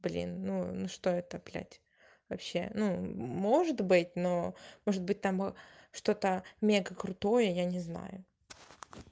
блин ну что это блять вообще ну может быть но может быть там что то мега крутое я не знаю